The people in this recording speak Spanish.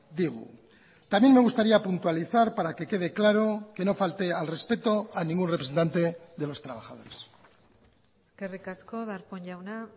digu también me gustaría puntualizar para que quede claro que no falté al respeto a ningún representante de los trabajadores eskerrik asko darpón jauna